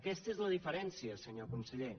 aquesta és la diferència senyor conseller